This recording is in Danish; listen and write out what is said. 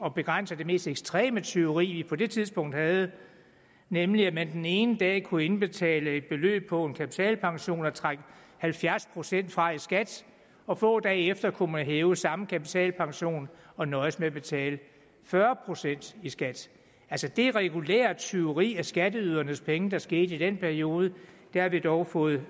at begrænse det mest ekstreme tyveri vi på det tidspunkt havde nemlig at man den ene dag kunne indbetale et beløb på en kapitalpension og trække halvfjerds procent fra i skat og få dage efter kunne man hæve samme kapitalpension og nøjes med at betale fyrre procent i skat det regulære tyveri af skatteydernes penge der skete i den periode har vi dog fået